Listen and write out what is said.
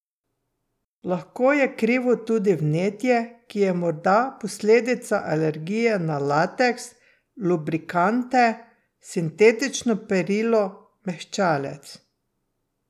Lahko je krivo tudi vnetje, ki je morda posledica alergije na lateks, lubrikante, sintetično perilo, mehčalec ...